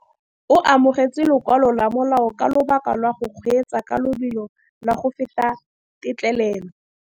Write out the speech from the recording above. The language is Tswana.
O amogetse lokwalô lwa molao ka lobaka lwa go kgweetsa ka lobelo la go feta têtlêlêlô.